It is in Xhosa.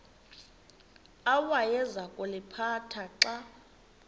awayeza kuliphatha xa